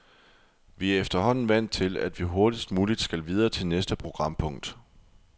Vi er efterhånden vant til, at vi hurtigst muligt skal videre til næste programpunkt.